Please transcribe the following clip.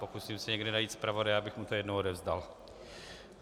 Pokusím se někde najít zpravodaje, abych mu to jednou odevzdal.